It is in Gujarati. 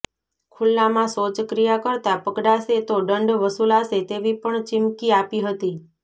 ખુલ્લામાં શૌચક્રિયા કરતા પકડાશે તો દંડ વસુલાશે તેવી પણ ચીમકી આપી હતી